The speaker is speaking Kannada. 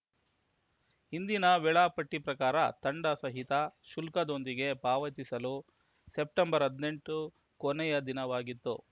ಹಿಂದಿನ ವೇಳಾಪಟ್ಟಿಪ್ರಕಾರ ದಂಡ ಸಹಿತ ಶುಲ್ಕದೊಂದಿಗೆ ಪಾವತಿಸಲು ಸೆಪ್ಟೆಂಬರ್ ಹದಿನೆಂಟು ಕೊನೆಯ ದಿನವಾಗಿತ್ತು